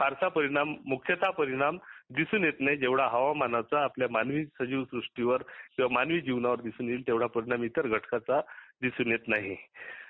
फारसा परिणाम मुख्याता परिणाम दिसून येत नाही जेव्हढा हवामानाचा आपल्या मानवी सजीव सृष्टिवर मानवी जीनावर दिसून येयील तेवढा पूर्ण इतर घटकाचा दिसून येत नाही